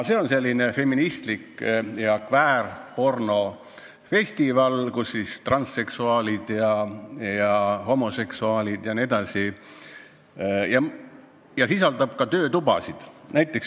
See on selline feministlik ja kväärpornofestival, kus osalevad transseksuaalid ja homoseksuaalid ning kus toimuvad ka töötoad.